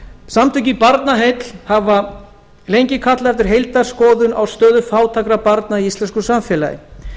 samtökin barnaheill hafa lengi kallað eftir heildarskoðun á stöðu fátækra barna í íslensku samfélagi